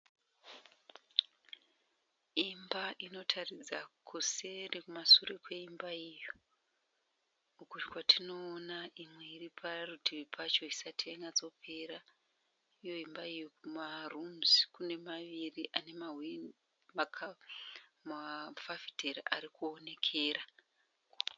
Imba Inotaridza kuseri kumashure kweimba iyo . Uko kwatinoona imwe iri parutivi pacho isati yanyatso pera uye imba iyo Kune dzimwe dzimba mbiri dzine mafafitera arikuonekera.